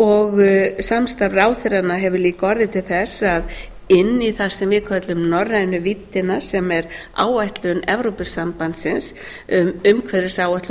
og samstarf ráðherranna hefur líka orðið til þess að inn í það sem við köllum norrænu víddina sem er áætlun evrópusambandsins um umhverfisáætlun og